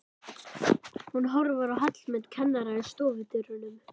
Hún horfir á Hallmund kennara í stofudyrunum.